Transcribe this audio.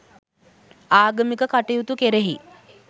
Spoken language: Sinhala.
ආගමික කටයුතු කෙරෙහි